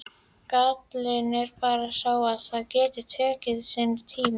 Gallinn er bara sá að það getur tekið sinn tíma.